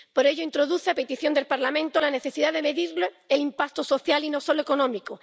Por ello introduce, a petición del Parlamento, la necesidad de medir el impacto social y no solo económico.